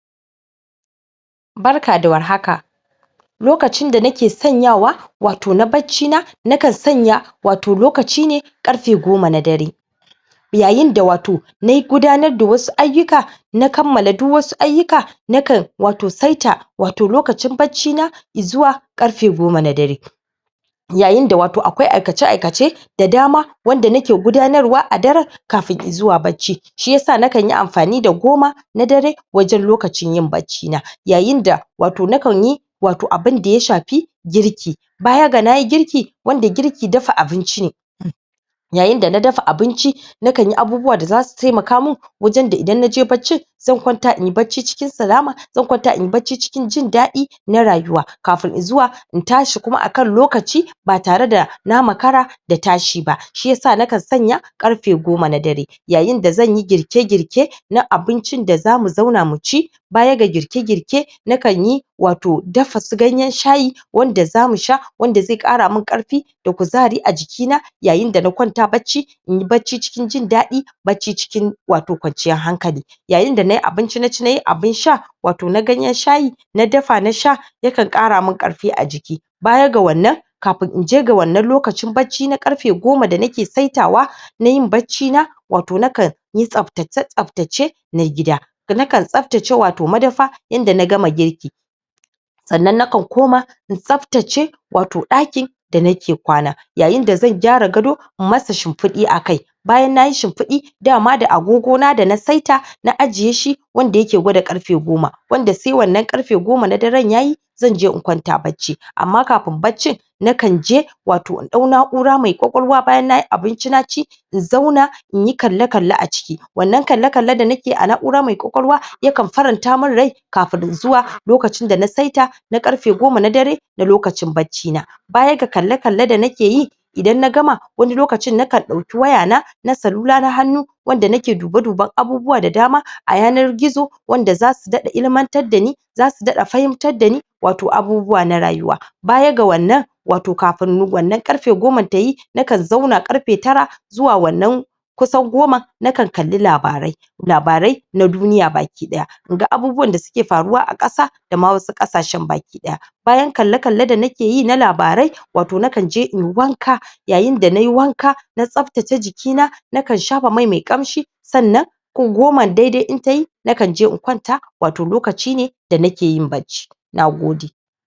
Barka da warhaka lokacin da nake sanyawa wato na bacci na na kansanya wato lokaci ne karfe goma na dare yayin da wato na gudanar da wasu aiyuka na kammala duk wasu aiyuka na kan saita wato lokacin bacci na izuwa karfe goma na dare yayin da wato akwai aikace aikace da dama wanda anke gudanarwa a dare shiyasa na kan yi amfani da goma na darewajen lokacin yin baccci na yayin da wato nan kanyi wato abin da ya shafi girki baya ga nayi girki wanda girki dafa abin ci jne yayin dana dafa abinci na kanyi abubuwa dazusu taimaka min wajen da idan naje baccin zan kwanta inyi bacci cikin salama zan kwanta inyi bacci cikin jin dadi na rayuwa kafin izuwa in tashi kuma akan lokaci ba tare da na makara da tashi ba, shiyasa na kan sanya karfe goma na dare yayin da zanyi girke girke na abinci da zamu zauna muci bayaga girke girke na kanyi wato su dafa ganyen shayi wanda zamu sha wanda zai kara min karfi da kuzari a jiki yayin dana kwanta bacci inyi bacci cikin jin dadi bacci cikin wato kwanciyan hankali yayin dana ci abinci naci na sha abin sha wato na ganyen shayi na dafa na sha ya kan kara min karfi a jiki baya ga wannan kafin inje ga wannan lokacin na karfe goma da anke saitawa nayin bacci na wato na kan yi tsabtace tsabtace na gida na kan tsabtace wato madafa inda na gama girki sannan na kan kuma in tsaftace wato daki da nake kwana yayin da zan gyara gado in masa shimfid akai bayan nayi shimfidi dama da agogona dana saita na ajiye shi wanda ayke gwada karfe goma wanda sai wannan karfe goman yayi zanje in kwanta bacci amma kafin baccin nakan je wato in dau na; ura mai kwakwalwa bayan na ci abinci in zauna inyi kalle kalle a ciki wannan kalle kalle da nakeyi a na; ura nai kwakwalwa yakan faranta min rai kafin izuwa lokacin dana saita na karfe goma na dare na lokacin bacci na baya ga kalle kalle da nake yi idan na gama wani lokacin nakan dauki wayana na salula na hannu wanda nake dube duben abubuwa da dama a yanar gizo wanda zasu dada ilimantar dani zasu dada fahimtar dani wato abubuwa na rayuwa baya ga wannan, wato kafin wannan karfe goman tayi na kan zauna karfe tara zuwa wannan kusan goma na kan labarai labarai na duniya daban daban inga abubuwan da suke faruwa a kasa da wasu kasashen baki daya bayan kalle kalle da nake yi na labarai wato na kan je inyi wanka yayin da nayi wanka na tsabtace jikina na kan shafa mai mai kanshi gomam daidai in tayi nakan je in kwanta wato lokaci da nake yin bacci nagode